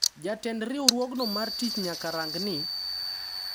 Jatend riwruogno mar tich nyaka rang ni,